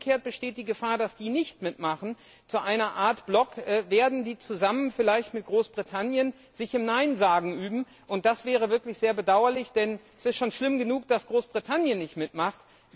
Umgekehrt besteht die Gefahr, dass die, die nicht mitmachen, zu einer Art Block werden, die sich vielleicht zusammen mit Großbritannien im Neinsagen üben, und das wäre wirklich sehr bedauerlich, denn es ist schon schlimm genug, dass Großbritannien nicht mitmacht.